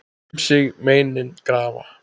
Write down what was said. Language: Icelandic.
Um sig meinin grafa.